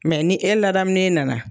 Mɛ ni e ladamulen nana